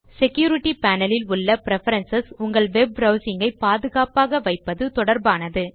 security panel இல் உள்ள preferences உங்கள் வெப் ப்ரவ்சிங் ஐ பாதுகாப்பாக வைப்பது தொடர்பானது